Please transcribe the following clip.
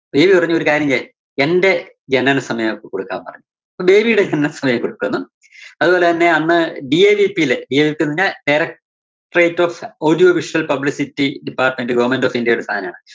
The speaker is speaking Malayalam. ബേബി പറഞ്ഞൊരു കാര്യം എന്റെ ജനന സമയം അവര്‍ക്ക് കൊടുക്കാൻ പറഞ്ഞു. അപ്പോ ബേബിയുടെ ജനന സമയം കൊടുത്തൂന്നും അതുപോലെത്തന്നെ അന്ന് DAVP യില് DAVP ന്നു പറഞ്ഞാ directorate of audio visual publicity department government of india യുടെ സാധനാണ്.